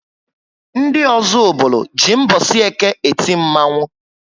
Ndị Ozubulu jị mbosi Eke eti Mmanwu